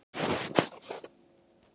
Díma, hvað er í matinn á föstudaginn?